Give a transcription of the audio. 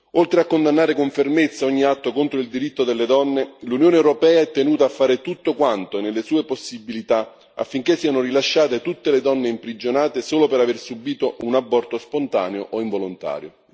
Oltre a condannare con fermezza ogni atto contro il diritto delle donne, l'Unione europea è tenuta a fare tutto quanto è nelle sue possibilità affinché siano rilasciate tutte le donne imprigionate solo per aver subito un aborto spontaneo o involontario.